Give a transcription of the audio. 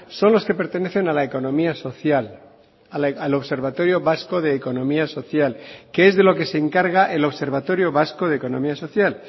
son los que pertenecen a la economía social al observatorio vasco de economía social que es de lo que se encarga el observatorio vasco de economía social